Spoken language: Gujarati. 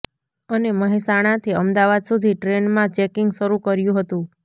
અને મહેસાણાથી અમદાવાદ સુધી ટ્રેનમાં ચેકિંગ શરુ કર્યુ હતુ